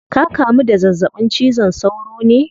Ka kamu da zazzabin cizon sauro ne?